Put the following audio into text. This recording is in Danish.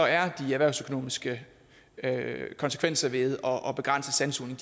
er de erhvervsøkonomiske konsekvenser ved at begrænse sandsugning